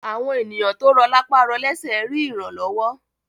Àwọn ènìyàn tó rọ̀ lápá rọ lésẹ̀ rí ìrànlọ́wọ́